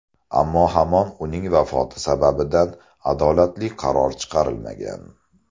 Ammo hamon uning vafoti sababidan adolatli qaror chiqarilmagan.